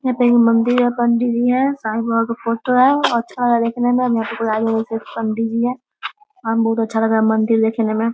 यहाँ पे एक मंदिर है पंडित जी है साईं बाबा का फोटो है अच्छा लग रहा है दिखने में और यहाँ पे आए हुआ पंडित जी है और बहुत अच्छा लग रहा मंदिर देखने में --